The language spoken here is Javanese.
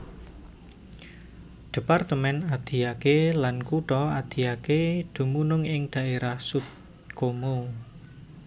Departemen Adiaké lan Kutha Adiaké dumunung ing dhaérah Sud Comoé